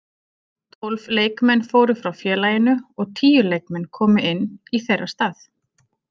Tólf leikmenn fóru frá félaginu og tíu leikmenn komu inn í þeirra stað.